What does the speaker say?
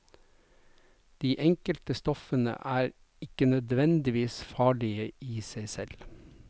De enkelte stoffene er ikke nødvendigvis farlige i seg selv.